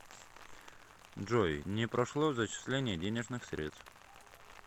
джой не прошло зачисление денежных средств